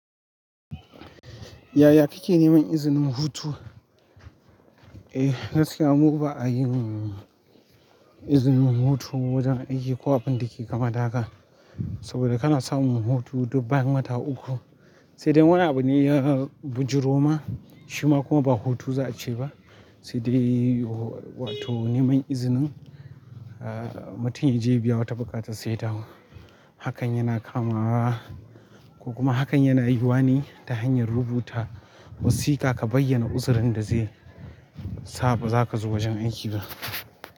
Yaya kike neman izinin hutu? Eh, gaskiya mu ba a yi izinin hutu wajen aiki ko abin da ke kama daga. Saboda kana samun hutu dubban wata uku, sai dai wana abu ne ya bijiro ma shima kuma ba hutu za a ce ba. Sai dai wato neman izinin, ah mutum ya je ya biya wata buƙata sa dawo. Hakan yana kamawa ko kuma hakan yana yuwa ne ta hanyar rubuta wasiƙa ka bayyana uzurin da zai saba za ka zo wajen aiki ba.